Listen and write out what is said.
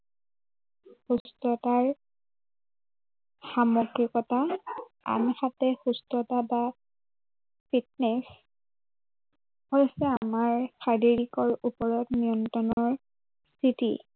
সুস্থতাৰ সামগ্ৰিকতা আৰু সঠিক সুস্থতা বা fitness হৈছে আমাৰ শাৰীৰিকৰ ওপৰত নিয়ন্ত্ৰণৰ স্থিতি